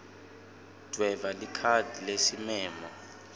dvweba likhadi lesimemo